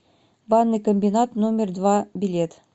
банный комбинат номер два билет